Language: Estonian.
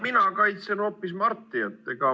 Mina kaitsen hoopis Marti.